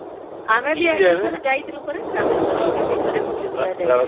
ଆମେ ବି ଏଇଠିକି ଥରେ ଯାଇଥିଲୁ ପରା ରାମେଶ୍ୱରମ ମୁଇ ବି ଥରେ ବୁଲି ବୁଲା ଯାଇଥିଲି